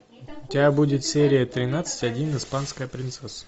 у тебя будет серия тринадцать один испанская принцесса